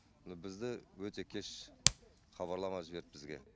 бізді өте кеш хабарлама жіберді бізге